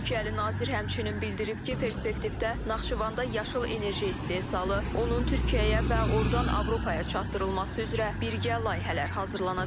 Türkiyəli nazir həmçinin bildirib ki, perspektivdə Naxçıvanda yaşıl enerji istehsalı, onun Türkiyəyə və ordan Avropaya çatdırılması üzrə birgə layihələr hazırlanacaq.